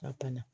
Ka na